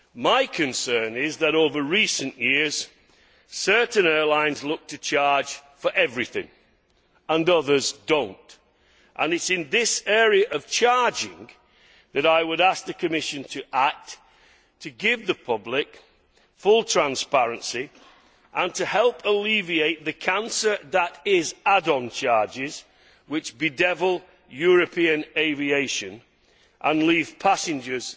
My concern is that over recent years certain airlines look to charge for everything and others do not and it is in this area that I would ask the Commission to act to give the public full transparency and to help alleviate the cancer that is add on charges which bedevil European aviation and often leave passengers